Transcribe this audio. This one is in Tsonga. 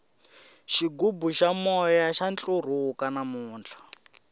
xigubu xa moya xa ntlurhuka namuntlha